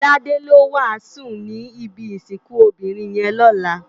Tade ló wásùn ni ibi isikùn óbirin yèn lòlá